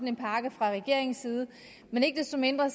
en pakke fra regeringens side men ikke desto mindre